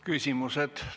Küsimused.